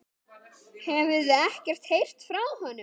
Hefurðu ekkert heyrt frá honum?